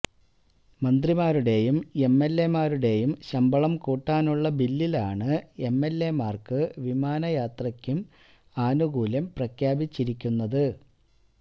മന്ത്രിമാരുടെയും എംഎൽഎമാരുടെയും ശമ്പളം കൂട്ടാനുള്ള ബില്ലിലാണ് എംഎൽഎമാർക്ക് വിമാനയാത്രയ്ക്കും ആനുകൂല്യം പ്രഖ്യാപിച്ചിരിക്കുന്നത്